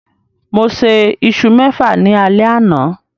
Mo sè isu mẹfa ní alé àna